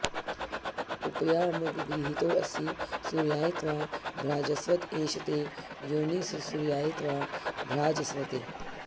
उ॒प॒या॒मगृ॑हीतोऽसि॒ सूर्या॑य त्वा॒ भ्राज॑स्वत ए॒ष ते॒ योनि॒स्सूर्या॑य त्वा॒ भ्राज॑स्वते